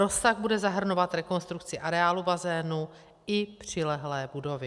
Rozsah bude zahrnovat rekonstrukci areálu bazénu i přilehlé budovy.